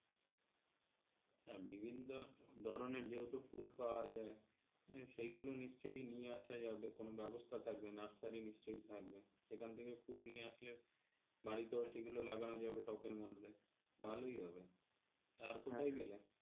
হ্যাঁ সেগুলো নিশ্চয় নিয়ে আসা যাবে কোনো ব্যবস্থা থাকবে nursery নিশ্চয় থাকবে সেখান থেকে ফুল নিয়ে আসলে বাড়িতেও সেগুলো লাগানো যাবে টবের মধ্যে ভালই হবে,